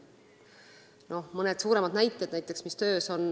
Toon mõned suuremad näited, mis töös on.